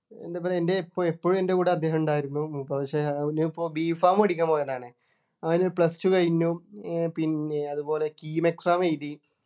എന്താ പറയാ എൻ്റെ എപ്പോ എപ്പോഴും എന്റെ കൂടെ അദ്ദേഹം ഉണ്ടായിരുന്നു പക്ഷെ അവനിപ്പോ B. pharm പഠിക്കാൻ പോയതാണ് അവന് Plus two കഴിഞ്ഞു ഏർ പിന്നെ അതുപോലെ KEAMexam എഴുതി